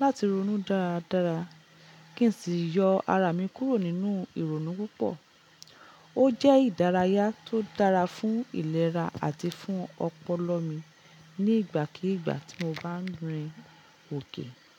láti ronú dáradára kí n sì yọ ara mi kúrò nínú ìrònú púpọ̀. Ó jẹ́ ìdárayá tó dára fún ìlera àti fún ọpọlọ mi ní ìgbàkígbà tí mo bá ń rìn òkè.